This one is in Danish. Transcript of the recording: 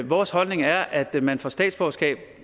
vores holdning er at man får statsborgerskab